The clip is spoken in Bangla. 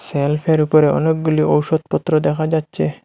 শেল্ফের উপরে অনেকগুলি ঔষধপত্র দেখা যাচ্ছে।